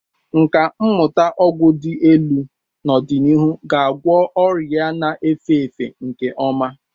Nkà mmụta ọgwụ dị elu n'ọdịnihu ga-agwọ ọrịa na-efe efe nke ọma.